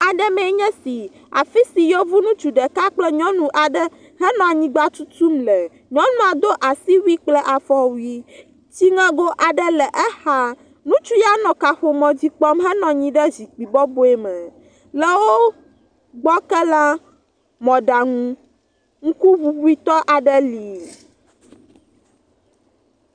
Aɖe mee nye esi afi si yevu ŋutsu ɖeka kple nyɔnu ɖeka henɔ anyigba tutum le. Nyɔnua do asiwui kple afɔwu. Tsiŋego aɖe le exa. Ŋutsu ya nɔ kaƒomɔ dzi kpɔm henɔ anyi ɖe zikpui bɔbɔe me. Le wo gbɔ ke la, mɔɖaŋu ŋkuŋuŋui tɔ aɖe li.